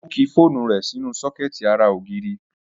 Ó ki fóònù rẹ̀ sínú sọ́kẹ̀tì ara ògiri